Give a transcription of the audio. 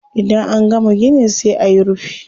Idan an gama gini sai ayi rufi.